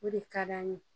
O de ka d'an ye